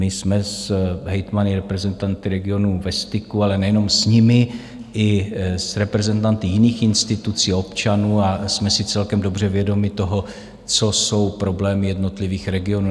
My jsme s hejtmany, reprezentanty regionu ve styku, ale nejenom s nimi, i s reprezentanty jiných institucí, občanů, a jsme si celkem dobře vědomi toho, co jsou problémy jednotlivých regionů.